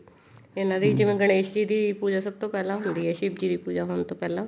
ਇਹਨਾ ਦੀ ਜਿਵੇਂ ਗਣੇਸ਼ ਜੀ ਦੀ ਸਭ ਤੋਂ ਪਹਿਲਾਂ ਹੁੰਦੀ ਹੈ ਸ਼ਿਵਜੀ ਦੀ ਪੂਜਾ ਹੋਣ ਤੋਂ ਪਹਿਲਾਂ